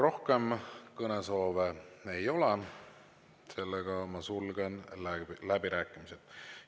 Rohkem kõnesoove ei ole, seega ma sulgen läbirääkimised.